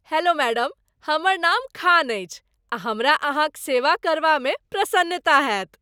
Hello madam, हमर नाम खान अछि आ हमरा अहाँक सेवा करबा में प्रसन्नता हेत ।